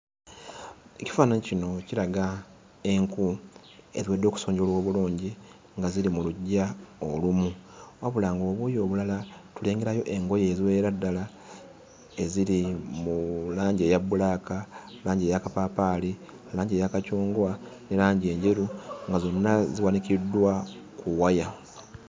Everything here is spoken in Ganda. Ekifaananyi kino kiraga enku eziwedde okusonjola obulungi, nga ziri mu luggya olumu. Wabula ng'obuuyi obulala tulengerayo engoye eziwerera ddala eziri mu langi eya bbulaaka, langi eya kapaapaali, langi eya kacungwa ne langi enjeru, nga zonna ziwanikiddwa ku waya.